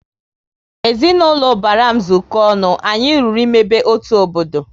Ezinaụlọ ubara m zuko ọnụ, anyị lụrụ ịmebe otu obodo